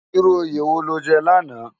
Irú óyé wó ló jè làná?